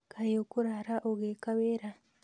Kaĩ ũkũrara ũgĩka wĩra?